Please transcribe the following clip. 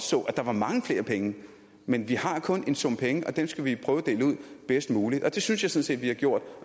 så at der var mange flere penge men vi har kun en sum penge og dem skal vi prøve at dele ud bedst muligt og det synes jeg sådan set vi har gjort